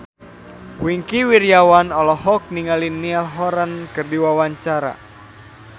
Wingky Wiryawan olohok ningali Niall Horran keur diwawancara